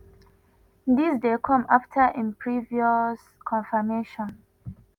dis dey come afta im previous confirmation